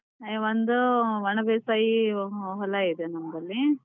ಒಂದು ಒಣ ಬೇಸಾಯಿ ಹೊಲ ಇದೆ ನಮ್ದಲ್ಲಿ.